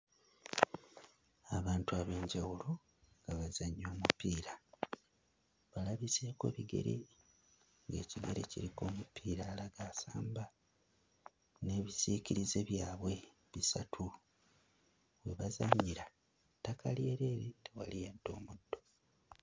Abantu ab'enjawulo nga bazannya omupiira. Balabiseeko bigere ng'ekigere kiriko omupiira alaga asamba n'ebisiikirize byabwe bisatu. We bazannyira ttaka lyereere, tewali yadde omuddo.